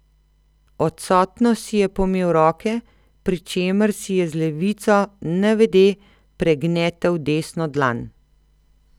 Odsotno si je pomel roke, pri čemer si je z levico nevede pregnetel desno dlan.